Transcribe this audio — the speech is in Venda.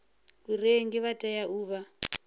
vharengi vha tea u vha